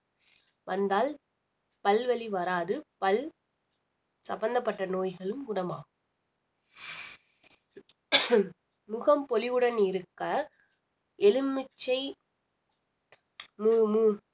வந்தால் பல்வலி வராது பல் சம்பந்தப்பட்ட நோய்களும் குணமாகும் முகம் பொலிவுடன் இருக்க எலுமிச்சை மு~ மு~